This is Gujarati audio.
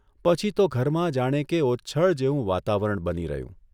પછી તો ઘરમાં જાણે કે ઓચ્છળ જેવું વાતાવરણ બની રહ્યું.